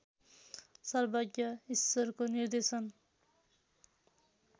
सर्वज्ञ ईश्वरको निर्देशन